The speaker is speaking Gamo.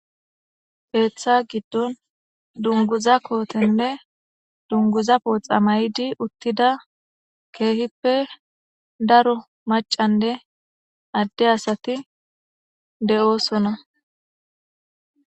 heeththa giddon dunguza kootenne dunguza pooxa may7di uttida keehippe daro macanne adde asati de7oosona